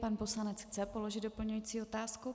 Pan poslanec chce položit doplňující otázku.